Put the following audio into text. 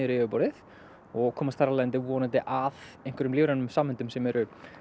yfirborðið og komast þar af leiðandi vonandi að einhverjum lífrænum sameindum sem eru